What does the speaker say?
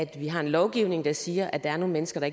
vi har en lovgivning der siger at der er nogle mennesker